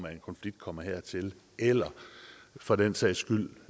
en konflikt kommer hertil eller for den sags skyld